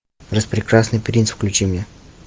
распрекрасный принц включи мне